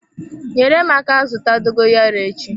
Nyere m aka zụta dogoyaro echi.